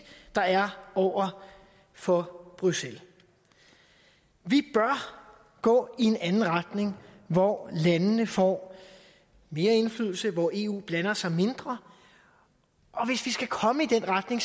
der er over for bruxelles vi bør gå i en anden retning hvor landene får mere indflydelse og hvor eu blander sig mindre og hvis vi skal komme i den retning